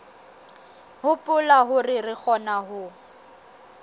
hopola hore re kgona ho